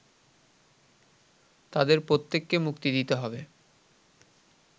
তাদের প্রত্যেককে মুক্তি দিতে হবে